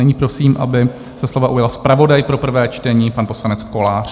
Nyní prosím, aby se slova ujal zpravodaj pro prvé čtení, pan poslanec Kolář.